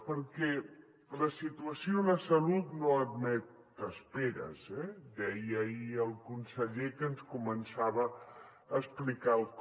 perquè la situació en la salut no admet esperes eh deia ahir el conseller que ens començava a explicar el com